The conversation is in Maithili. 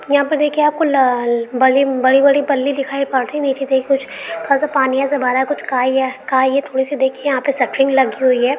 यहाँ पर देखिये आपको लाल बड़ी - बड़ी पल्ली दिखाई पड़ रही नीचे से कुछ थोड़ा - सा पानी ऐसा भरा है कुछ खाई है खाई है थोड़ी सी देखिये यहाँ पर कुछ सेटरिंग लगी हुई है।